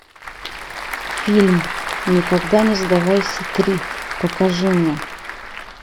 фильм никогда не сдавайся три покажи мне